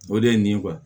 O de ye nin ye wa